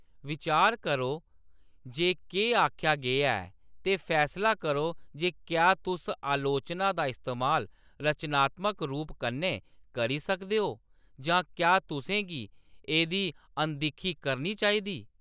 बिचार करो जे केह्‌‌ आखेआ गेआ ऐ ते फैसला करो जे क्या तुस अलोचना दा इस्तेमाल रचनात्मक रूप कन्नै करी सकदे ओ जां क्या तुसें गी एदी अनदिक्खी करनी चाहिदी।